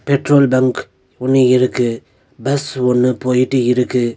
Petrol bunk ஒன்னு இருக்கு bus ஒன்னு போய்ட்டு இருக்கு.